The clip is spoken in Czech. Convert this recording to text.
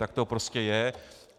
Tak to prostě je.